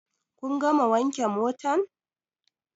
Kun gama wanke motan?